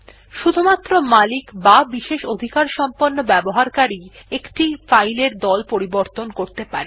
শুধুমাত্র মালিক বা বিশেষ অধিকার সম্পন্ন ব্যবহারকারী একটি ফাইল এর দল পরিবর্তন করতে পারে